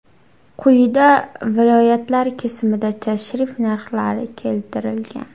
Quyida viloyatlar kesimida tarif narxlari keltirilgan.